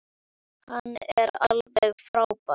Hann er alveg frábær.